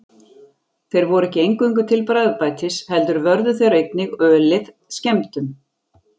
Þeir voru ekki eingöngu til bragðbætis heldur vörðu þeir einnig ölið skemmdum.